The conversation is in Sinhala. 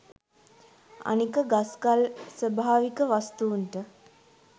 අනික ගස් ගල් ස්වභාවික වස්තූන්ට